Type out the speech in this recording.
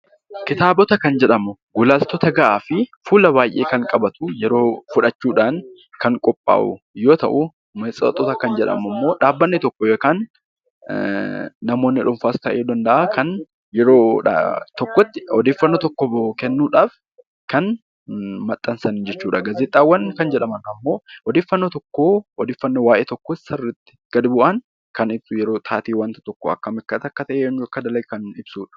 Kitaabota kan jedhamu gulaaltota gahaa fi fuula baay'ee yeroo fudhachuudhaan kan qophaa'u yoo ta'u , matseetii kan jedhamu dhaabbanni tokko yookaan namoonni dhuunfaas ta'uu danda'a kan odeeffannoo tokko kennuudhaaf kan maxxansan jechuudha. Gaazexaawwan kan jedhaman ammoo odeeffannoo waayee tokkoo kan ibsu kan taatee akkam akka ta'e ibsudha .